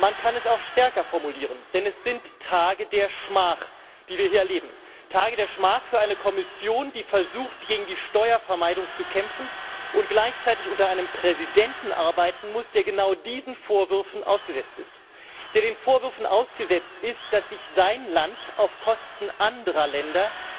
Man kann es auch stärker formulieren, denn es sind Tage der Schmach, die wir hier erleben, Tage der Schmach für eine Kommission, die versucht, gegen die Steuervermeidung zu kämpfen, und gleichzeitig unter einem Präsidenten arbeiten muss, der genau diesen Vorwürfen ausgesetzt ist, dass sich sein Land auf Kosten anderer Länder